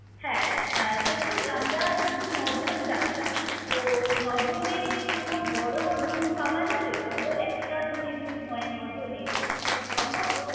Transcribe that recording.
হ্যাঁ! আহ দেখুন আমরা হচ্ছি নয়জন যাচ্ছি। তো, নয়জনের কি কোনো বড় room পাওয়া যাবে? বড় একটা যদি room হয় নয়জনের সেটা কি সম্ভব?